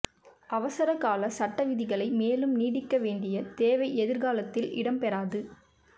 அவசரகால சட்ட விதிகளை மேலும் நீடிக்க வேண்டிய தேவை எதிர்காலத்தில் இடம்பெறாது